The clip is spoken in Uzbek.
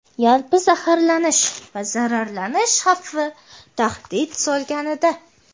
yalpi zaharlanish va zararlanish xavfi tahdid solganida;.